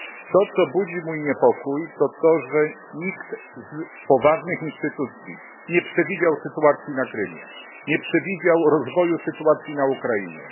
To, co budzi mój niepokój, to fakt, że nikt z poważnych instytucji nie przewidział sytuacji na Krymie, nie przewidział rozwoju sytuacji na Ukrainie.